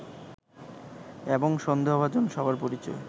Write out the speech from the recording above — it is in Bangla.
এবং সন্দেহভাজন সবার পরিচয়